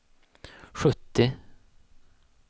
sjuttio